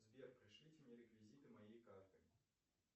сбер пришлите мне реквизиты моей карты